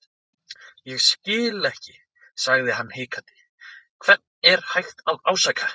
Ég skil ekki sagði hann hikandi, hvern er hægt að ásaka.